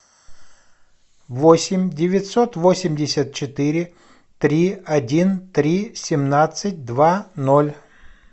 восемь девятьсот восемьдесят четыре три один три семнадцать два ноль